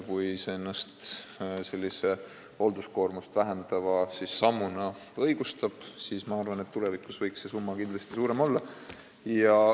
Kui see meede ennast hoolduskoormust vähendava sammuna õigustab, siis ma arvan, et tulevikus võiks see summa kindlasti suurem olla.